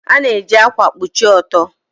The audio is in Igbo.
A na-eji ákwà kpuchie ọtọ.